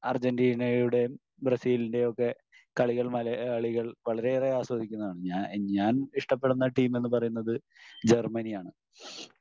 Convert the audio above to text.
അർജെൻറ്റീനയുടേം ബ്രസീലിന്റ്റേയും ഒക്കെ കളികൾ മലയാളികൾ വളരെയേറെ ആസ്വദിക്കുന്നതാണ്. ഞാൻ ഞാൻ ഇഷ്ടപ്പെടുന്ന ടീം എന്ന് പറയുന്നത് ജർമ്മനിയാണ്.